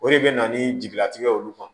O de bɛ na ni jigilatigɛ ye olu kan